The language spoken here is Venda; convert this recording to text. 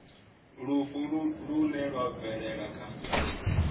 lufu lune lwa bvelela kha